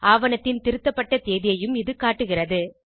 ஆவணத்தின் திருத்தப்பட்ட தேதியையும் இது காட்டுகிறது